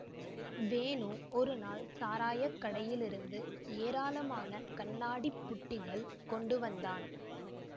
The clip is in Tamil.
வேணு ஒரு நாள் சாராய கடையிலிருந்து ஏராளமான கண்ணாடி புட்டிகள் கொண்டுவந்தான்